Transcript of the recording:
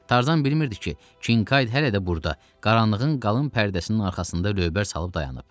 Tarzan bilmirdi ki, Kinkayd hələ də burda qaranlığın qalın pərdəsinin arxasında lövbər salıb dayanıb.